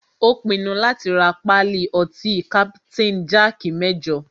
Ó pinnu láti rá pálí ọtí kapitain jaaki mẹ́jọ.